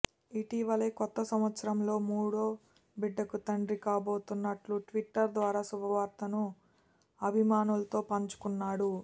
ఇటీవలే కొత్త సంవత్సరంలో మూడో బిడ్డకు తండ్రి కాబోతున్నట్లు ట్విట్టర్ ద్వారా శుభవార్తను అభిమానులతో పంచుకున్నాడు